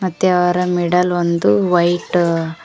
ಮತ್ತು ಅವರ ಮಿಡಲ್ ಒಂದು ವೈಟ್ --